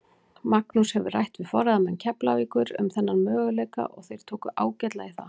Magnús hefur rætt við forráðamenn Keflavíkur um þennan möguleika og þeir tóku ágætlega í það.